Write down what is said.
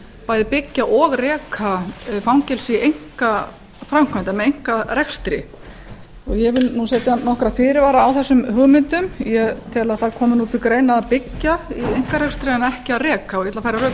bæði byggja og reka fangelsi í einkaframkvæmd eða með einkarekstri ég vil nú setja nokkra fyrirvara á þessum hugmyndum ég tel að það komi til greina að byggja í einkarekstri en ekki að reka og ég ætla að færa rök fyrir